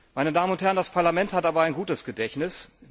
Meine Damen und Herren, das Parlament hat aber ein gutes Gedächtnis.